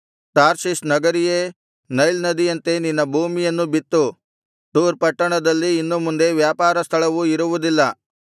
Tarshish ನಗರಿಯೇ Nile ನದಿಯಂತೆ ನಿನ್ನ ಭೂಮಿಯನ್ನು ಬಿತ್ತು ತೂರ್ ಪಟ್ಟಣದಲ್ಲಿ ಇನ್ನು ಮುಂದೆ ವ್ಯಾಪಾರ ಸ್ಥಳವು ಇರುವುದಿಲ್ಲ